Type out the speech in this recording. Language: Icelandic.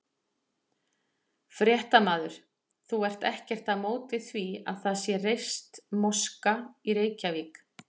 Fréttamaður: Þú ert ekkert á móti því að það sé reist moska í Reykjavík?